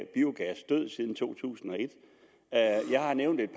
biogas død siden to tusind og et jeg nævnte et